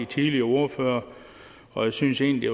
tidligere ordførere og jeg synes egentlig at